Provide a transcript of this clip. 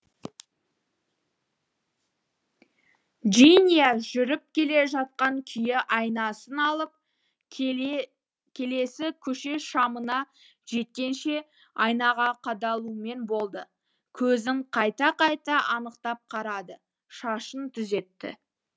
джиния жүріп келе жатқан күйі айнасын алып келесі көше шамына жеткенше айнаға қадалумен болды көзін қайта қайта анықтап қарады шашын түзетті